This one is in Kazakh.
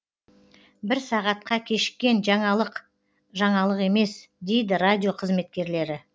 бір сағатка кешіккен жаңалық жаңалық емес дейді радио қызметкерлері